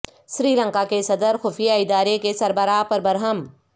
سری لنکا کے صدر خفیہ ادارے کے سربراہ پر برہم